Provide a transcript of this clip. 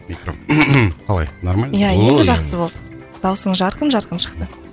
қалай нормально иә о енді жақсы болды дауысыңыз жарқын жарқын шықты